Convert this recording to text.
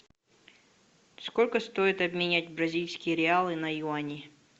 сколько стоит обменять бразильские реалы на юани